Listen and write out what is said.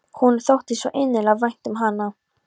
Honum þótti svo innilega vænt um hana.